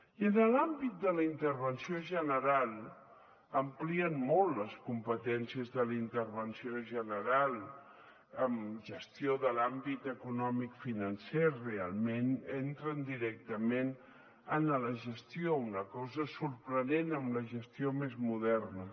i en l’àmbit de la intervenció general amplien molt les competències de la intervenció general en gestió de l’àmbit economicofinancer realment entren directament en la gestió una cosa sorprenent més moderna